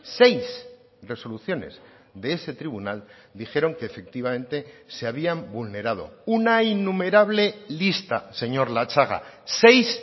seis resoluciones de ese tribunal dijeron que efectivamente se habían vulnerado una innumerable lista señor latxaga seis